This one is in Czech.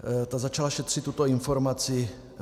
Ta začala šetřit tuto informaci.